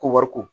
Ko wari ko